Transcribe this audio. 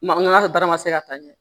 Maa baara ma se ka taa ɲɛ